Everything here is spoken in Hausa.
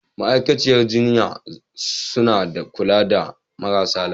Ma'aikatan jinya suna kula da marasa lafiya.